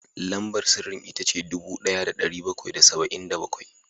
Lambar sirrin ita ce dubu ɗaya da ɗari bakwai da saba’in da bakwai